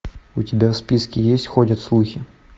у тебя в списке есть ходят слухи